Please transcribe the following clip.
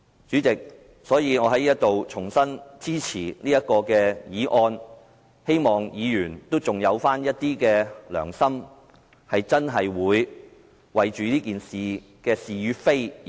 主席，我在此重申支持這項議案，希望議員還有一點良心，真正為了這事的是與非而投票。